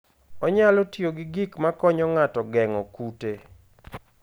Onyalo tiyo gi gik makonyo ng'ato geng'o kute.